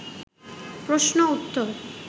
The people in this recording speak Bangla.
প্রশ্ন উত্তর